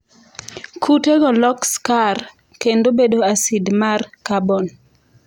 Kutego lok skar kendo bedo acid mar kabon.